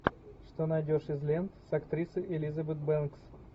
что найдешь из лент с актрисой элизабет бэнкс